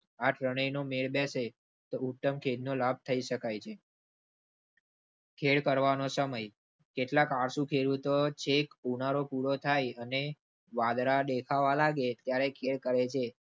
આ ત્રણેય નો મેળ બેસે તો ઉત્તમ ખેડનો લાભ લઈ શકાય છે. ખેડ કરવાનો સમય કેટલાક આળસુ ખેડૂતો ચેક ઉનાળો પૂરો થાય અને વાદળા દેખાવા લાગે ત્યારે ખેડ કરેં છે.